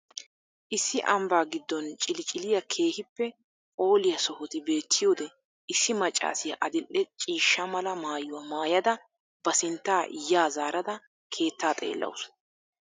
Issi ambaa giddon xilciliya keehippe phooliya sohoti beettiyode ISSI maccaassiya adil"e ciishsha mala maayuwa maayada ba sinttaa yaa zaarada keettaa xeellawusu.